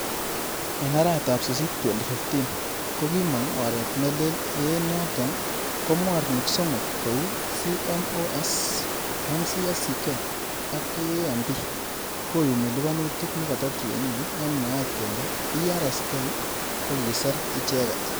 En arawetab Sisit 2015,Ko kikimong oret neleel ye enyoton ko mornik somok kou ;Cmos, MCSK ak KAMP koyumi liponutik nekoto tienik en mwaet kele PRSK Ko kiser icheget.